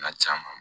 Na caaman